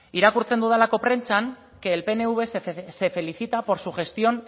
irakurtzen dudalako prentsan que el pnv se felicita por su gestión